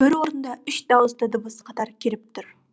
бір орында үш дауысты дыбыс қатар келіп тұр